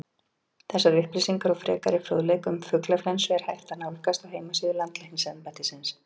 Þessar upplýsingar og frekari fróðleik um fuglaflensu er hægt að nálgast á heimasíðu Landlæknisembættisins.